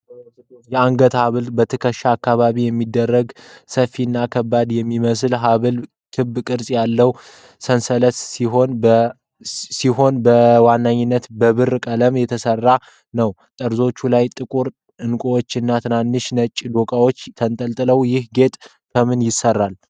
የአንገት ሐብል በትከሻ አካባቢ የሚደረግ ሰፊ እና ከባድ የሚመስል ሐብል። ክብ ቅርጽ ያለው ሰንሰለት ሲሆን በዋናነት በብርማ ቀለም የተሰራ ነው። ጠርዞቹ ላይ ጥቁር ዕንቁዎች እና ትንንሽ ነጭ ዶቃዎች ተንጠልጥለዋል። ይህ ጌጥ ከምን ይሰራል?